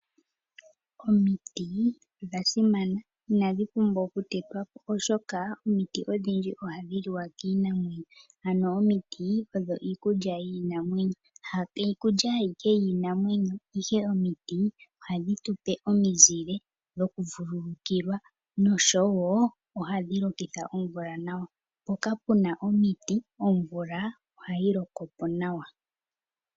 Omiti odha simana na inadhi pumbwa okutetwa po oshoka omiti odhindji ohadhi liwa kiinamwenyo, ano omiti odho iikulya yiinamwenyo. Ha ashike iikulya yiinamwenyo ihe omiti ohadhi tu pe omizile dhokuvululukilwa, noshowo ohadhi lokitha omvula nawa. Mpoka pu na omiti omvula ohayi loko po nawa.